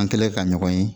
An kɛlen ka ɲɔgɔn ye